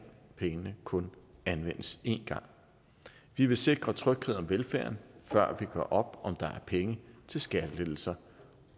pengene kun anvendes en gang vi vil sikre tryghed om velfærden før vi gør op om der er penge til skattelettelser